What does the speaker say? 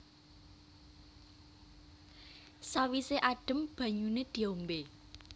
Sawise adem banyune diombe